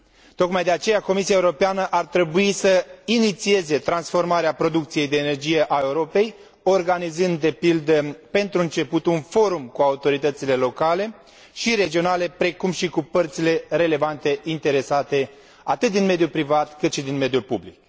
Tocmai de aceea, Comisia Europeană ar trebui să inițieze transformarea producției de energie a Europei organizând, de pildă pentru început, un forum cu autoritățile locale și regionale, precum și cu părțile relevante interesate, atât din mediul privat, cât și din mediul public.